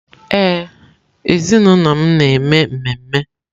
Ee, ezinụlọ m na-eme ememe.